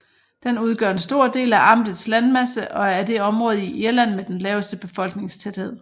Den udgør en stor del af amtets landmasse og er det område i Irland med den laveste befolkningstæthed